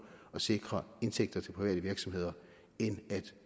at sikre indtægter til private virksomheder end at